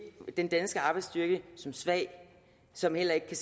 den danske arbejdsstyrke som svag så den heller ikke kan